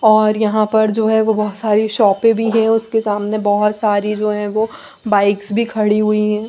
और यहाँ पर जो है वो बहुत सारी शॉपे भी है उसके सामने बहुत सारी जो है वो बाइक्स भी खड़ी हुई है।